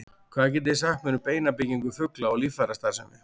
Hvað getið þið sagt mér um beinabyggingu fugla og líffærastarfsemi?